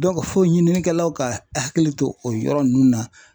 fo ɲininikɛlaw ka hakili to o yɔrɔ ninnu na ,